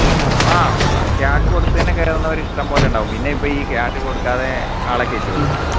ആഹ് cash കൊടുത് തന്നെ കയറുന്നവർ ഇഷ്ടം പോലെ ഉണ്ടാവും പിന്നെ ഇപ്പം ഈ cash കൊടുക്കാതെ ആളെ കേറ്റുവോ